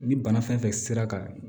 Ni bana fɛn fɛn sera ka